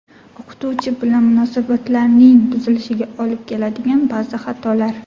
O‘qituvchi bilan munosabatlarning buzilishiga olib keladigan ba’zi xatolar.